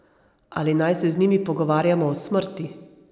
Ali naj se z njimi pogovarjamo o smrti?